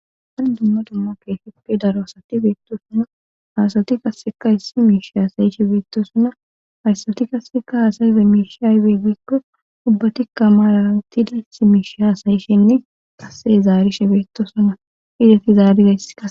Darn dumma dumma keefippe daro asati beettosuna haasati kasseka issi miishe haasayishe beettosuna hayssati kasseka haasayife miishi aybe beikko ubbatikka maalara wuti layss miishe haasayishenne kasse zaarishe beettosuna ideti zaarizaysa